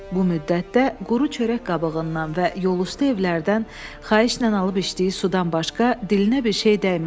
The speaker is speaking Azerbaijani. Bu müddətdə quru çörək qabığından və yolüstü evlərdən xahişlə alıb içdiyi sudan başqa dilinə bir şey dəymədi.